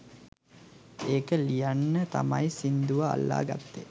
ඒක ලියන්න තමයි සිංදුවා අල්ලගත්තේ